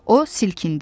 O silkindi.